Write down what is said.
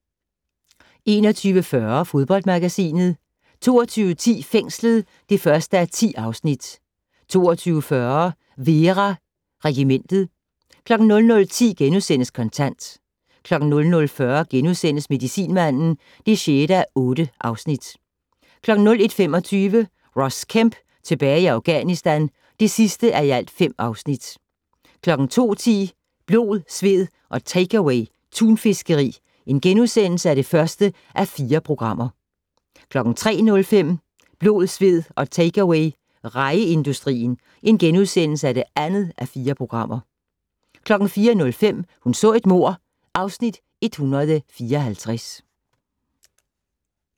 21:40: Fodboldmagasinet 22:10: Fængslet (1:10) 22:40: Vera: Regimentet 00:10: Kontant * 00:40: Medicinmanden (6:8)* 01:25: Ross Kemp tilbage i Afghanistan (5:5) 02:10: Blod, sved og takeaway - tunfiskeri (1:4)* 03:05: Blod, sved og takeaway - rejeindustrien (2:4)* 04:05: Hun så et mord (Afs. 154)